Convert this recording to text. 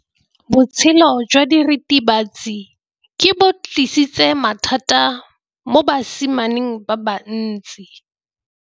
Botshelo jwa diritibatsi ke bo tlisitse mathata mo basimaneng ba bantsi.